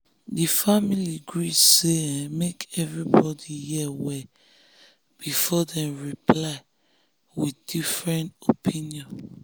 di family gree say make everybody hear well before dem reply different opinion.